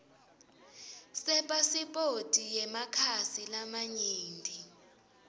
sepasiphoti yemakhasi lamanyenti